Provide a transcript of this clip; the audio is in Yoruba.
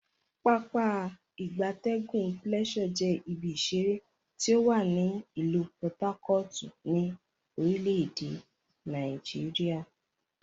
Pápá ìgbatẹ́gùn Pleasure je ibi isere ti owa ni ilu Por Harcourt, ni orile ede Nigeria.